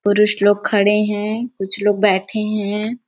पुरुष लोग खड़े है कुछ लोग बैठे है।